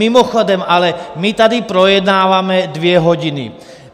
Mimochodem ale my tady projednáváme dvě hodiny.